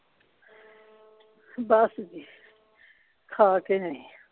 ਬੱਸ ਜੀ ਖਾ ਕੇ ਆਏਂ ਆ